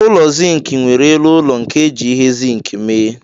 Ụlọ Zink nwere elu ụlọ nke eji ihe zink mee.